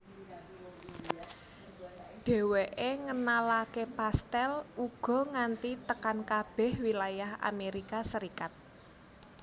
Dhéwéké ngenalaké pastèl uga nganti tekan kabeh wilayah Amérika Serikat